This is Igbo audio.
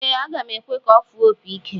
Ee, aga m ekwe ka ọ fụọ opi ike.